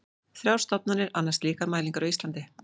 Þrjár stofnanir annast slíkar mælingar á Íslandi.